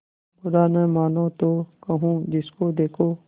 बुरा न मानों तो कहूँ जिसको देखो